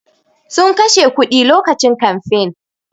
Sun kashe kuɗi lokacin kamfain